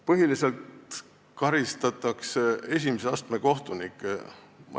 Põhiliselt karistatakse esimese astme kohtunikke.